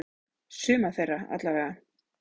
Suma þeirra allavega.